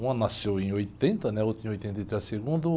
Uma nasceu em oitenta, né? A outra em oitenta e três, segundo.